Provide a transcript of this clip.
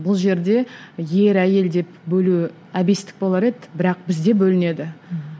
бұл жерде ер әйел деп бөлу әбестік болар еді бірақ бізде бөлінеді